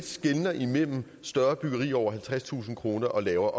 skelner imellem større byggerier på over halvtredstusind kroner og lavere